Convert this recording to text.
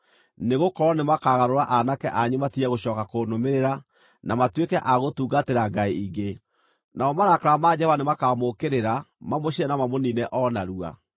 nĩgũkorwo nĩmakagarũra aanake anyu matige gũcooka kũnũmĩrĩra, na matuĩke a gũtungatĩra ngai ingĩ, namo marakara ma Jehova nĩmakamũũkĩrĩra, mamũcine na mamũniine o narua.